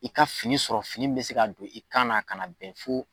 I ka fini sɔrɔ fini mi bɛ se ka don i kan na, a kana bɛn fo